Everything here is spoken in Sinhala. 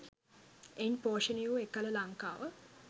එයින් පෝෂණය වූ එකල ලංකාව